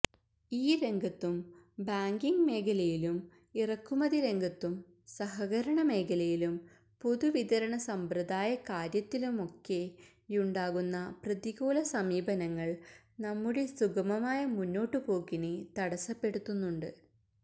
ഈ രംഗത്തും ബാങ്കിങ് മേഖലയിലും ഇറക്കുമതി രംഗത്തും സഹകരണമേഖലയിലും പൊതുവിതരണസമ്പ്രദായ കാര്യത്തിലുമൊക്കെയുണ്ടാകുന്ന പ്രതികൂലസമീപനങ്ങള് നമ്മുടെ സുഗമമായ മുന്നോട്ടുപോക്കിനെ തടസ്സപ്പെടുത്തുന്നുണ്ട്